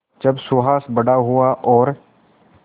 जब सुहास बड़ा हुआ और